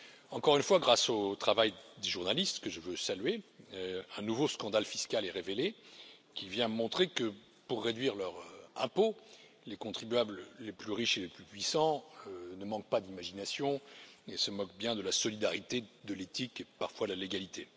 Encore une fois, grâce au travail des journalistes que je veux saluer un nouveau scandale fiscal est révélé qui vient montrer que pour réduire leurs impôts les contribuables les plus riches et les plus puissants ne manquent pas d'imagination et se moquent bien de la solidarité, de l'éthique et parfois de la légalité.